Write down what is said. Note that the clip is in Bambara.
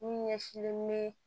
Mun ɲɛsinnen bɛ